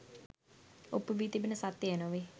ඔප්පු වී තිබෙන සත්‍යය එය නොවේ